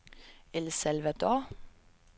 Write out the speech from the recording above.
El Salvador